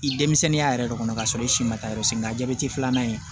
I denmisɛnninya yɛrɛ de kɔnɔ k'a sɔrɔ i si ma taa yɔrɔ si nka jabɛti filanan in